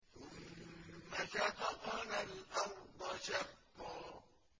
ثُمَّ شَقَقْنَا الْأَرْضَ شَقًّا